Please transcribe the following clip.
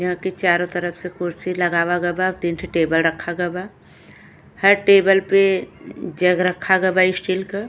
यहाँ के चारो तरफ से कुर्सी लगावा गबा और तीन ठो टेबल रखा गबा। हर टेबल पे जग रखा गबा स्टील क।